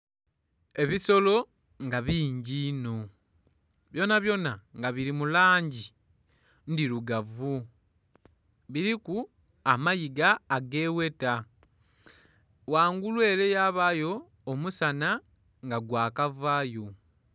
Ebisolo nga bingi inho. Byonabyona nga bili mu langi ndhilugavu. Biliku amayiga agegheta. Ghangulu ele yabaayo omusana nga gwakavaayo.